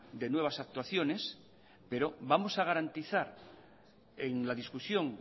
de nuevas actuaciones pero vamos a garantizar en la discusión